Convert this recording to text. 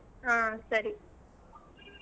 ಹ್ಮ್ ಸರಿ .